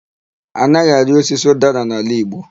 A naghị arị osisi ụdara n'ala igbo.